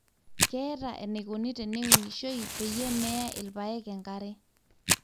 keetae eneikoni teneunishoi peyie meeya ilpaek enkare